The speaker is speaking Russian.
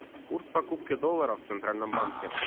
курс покупки доллара в центральном банке